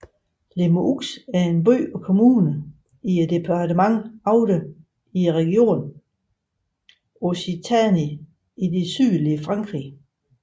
Limoux er en by og kommune i departementet Aude i regionen Occitanie i det sydlige Frankrig